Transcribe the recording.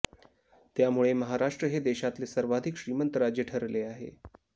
त्यामुळे महाराष्ट्र हे देशातले सर्वाधिक श्रीमंत राज्य ठरले आहे